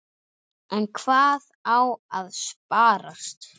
En hvað á að sparast?